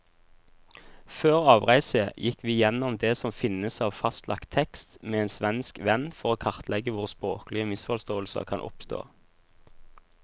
Før avreise gikk vi gjennom det som finnes av fastlagt tekst med en svensk venn, for å kartlegge hvor språklige misforståelser kan oppstå.